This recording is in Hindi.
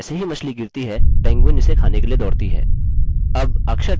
फिर जैसे ही मछली गिरती है पेंगुइन उसे खाने के लिए दौड़ती है